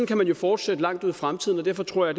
kan man jo forsætte langt ud i fremtiden og derfor tror jeg